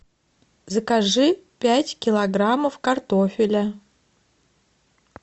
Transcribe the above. закажи пять килограммов картофеля